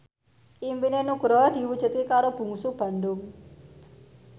impine Nugroho diwujudke karo Bungsu Bandung